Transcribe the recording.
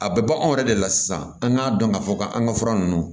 A bɛ bɔ anw yɛrɛ de la sisan an k'a dɔn k'a fɔ k'an ka fura ninnu